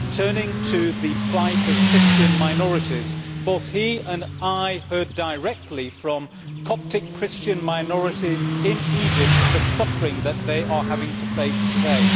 Turning to the plight of Christian minorities, both he and I heard directly from Coptic Christian minorities in Egypt about the suffering that they are having to face today.